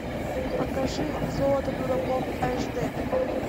покажи золото дураков аш д